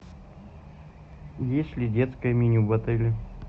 есть ли детское меню в отеле